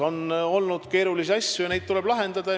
On olnud keerulisi asju, mida tuleb lahendada.